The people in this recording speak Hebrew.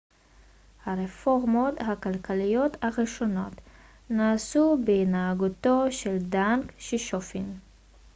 הרפורמות הכלכליות הראשונות נעשו בהנהגתו של דנג שיאופינג